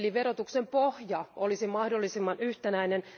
Eli verotuksen pohja olisi mahdollisimman yhtenäinen.